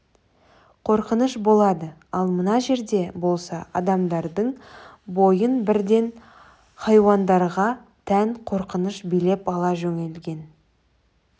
қорқыныш болады ал мына жерде болса адамдардың бойын бірден хайуандарға тән қорқыныш билеп ала жөнелген